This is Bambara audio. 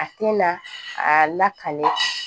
A tɛ na a lakale